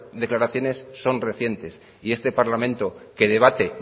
declaraciones son recientes y este parlamento que debate